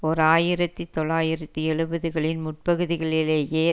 ஓர் ஆயிரத்தி தொள்ளாயிரத்தி எழுபதுகளின் முற்பகுதிகளிலேயே